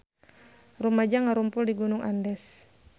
Rumaja ngarumpul di Gunung Andes